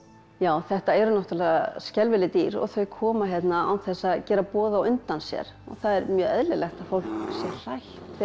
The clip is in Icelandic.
já þetta eru náttúrulega skelfileg dýr og þau koma hérna án þess að gera boð á undan sér og það er mjög eðlilegt að fólk sé hrætt þegar